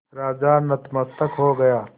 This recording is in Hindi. राजा नतमस्तक हो गया